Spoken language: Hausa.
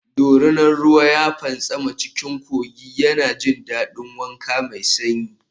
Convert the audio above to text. Doria ruwa ya fantsama cikin kogi yana jin daɗin wanka mai sanyi.